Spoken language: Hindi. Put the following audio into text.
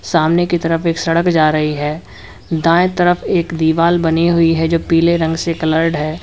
सामने की तरफ एक सड़क जा रही है दाएं तरफ एक दीवाल बनी हुई है जो पीले रंग से कलर्ड है।